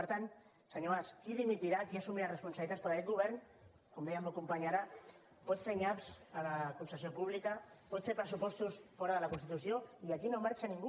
per tant senyor mas qui dimitirà qui assumirà responsabilitats perquè aquest govern com deia el meu company ara pot fer nyaps a la concessió pública pot fer pressupostos fora de la constitució i aquí no marxa ningú